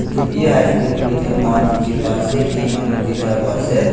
bee hive bakery te mua dekhi pai ase ki manu duita boha ase.